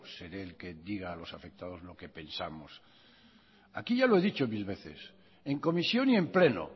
seré el que diga a los afectados lo que pensamos aquí ya lo he dicho mil veces en comisión y en pleno